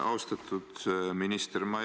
Austatud minister!